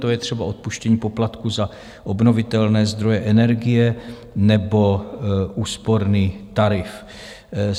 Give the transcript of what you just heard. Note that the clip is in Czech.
To je třeba odpuštění poplatku za obnovitelné zdroje energie nebo úsporný tarif.